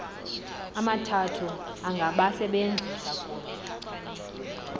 amathathu angabasebenzi kunye